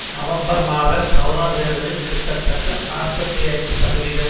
November மாத governor தேர்தலில் கிட்டத்தட்ட நாற்பத்தி ஐந்து சதவிகிதம்